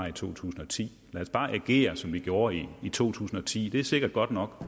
i to tusind og ti lad os bare agere som vi gjorde i to tusind og ti for det er sikkert godt nok